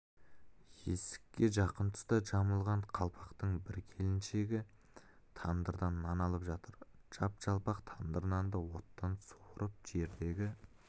есікке жақын тұста жамылған қалпақтың бір келіншегі еңкейіп тандырдан нан алып жатыр жап-жалпақ тандыр нанды оттан суырып жердегі